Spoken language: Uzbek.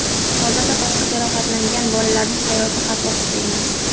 Hozirda boshqa jarohatlangan bolalarning hayoti xavf ostida emas.